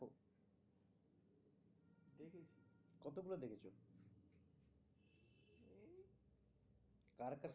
তার কাছে